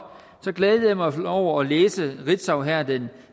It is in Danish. kan glædede mig over at læse på ritzau her den